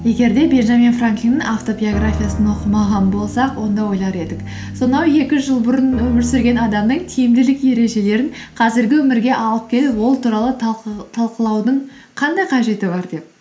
егер де бенджамин франклиннің автобиографиясын оқымаған болсақ онда ойлар едік сонау екі жүз жыл бұрын өмір сүрген адамның тиімділік ережелерін қазіргі өмірге алып келіп ол туралы талқылаудың қандай қажеті бар деп